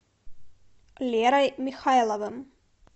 лерой михайловым